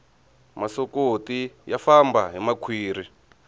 masokoti ya famba hi makhwiri